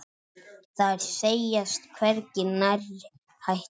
Þær segjast hvergi nærri hættar.